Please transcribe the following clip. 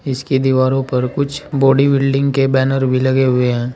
इसकी दीवारों पर कुछ बॉडी बिल्डिंग के कुछ बैनर भी लगे हुए है।